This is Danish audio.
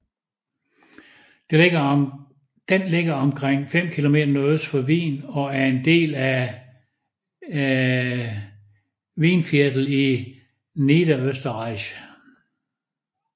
Den ligger omkring 5 km nordøst for Wien og er en del af Weinviertel i Niederösterreich